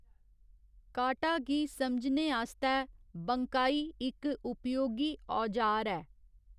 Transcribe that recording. काटा गी समझने आस्तै बंकाई इक उपयोगी औजार ऐ।